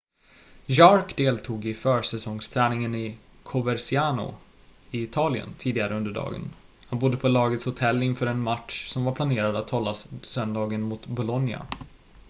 jarque deltog i försäsongsträningen i coverciano i italien tidigare under dagen han bodde på lagets hotell inför en match som var planerad att hållas söndagen mot bolonia